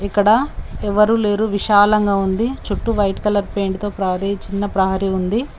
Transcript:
ఇక్కడ ఎవరు లేరు విశాలంగా ఉంది చుట్టూ వైట్ కలర్ పెయింట్ తో ప్రహరీ చిన్న ప్రహరీ ఉంది.